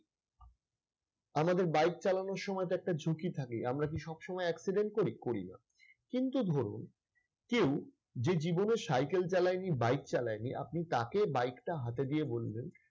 আমাদের bike চালানোর সময়তো একটা ঝুঁকি থাকে। আমরা কি সবসময় accident করি? করি না। কিন্তু ধরুন, কেউ যে জীবনে সাইকেল চালায়নি bike চালায়নি। আপনি তাকে bike টা হাতে দিয়ে বললেন